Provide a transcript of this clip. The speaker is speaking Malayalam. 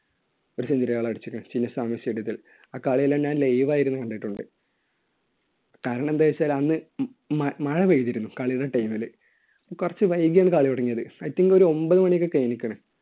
ആ കളിയെല്ലാം ഞാൻ live ആയിരുന്നു കണ്ടിട്ടുണ്ട്. കാരണം എന്താണെന്നുവെച്ചാൽ അന്ന് അഹ് മഴ പെയ്തിരുന്നു കളിയുടെ time ൽ. കുറച്ച് വൈകിയാണ് കളി തുടങ്ങിയത്. I think ഒരു ഒൻപതുമണിയൊക്കെ കഴിഞ്ഞ്ക്കുണ്.